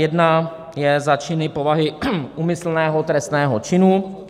Jedna je za činy povahy úmyslného trestného činu.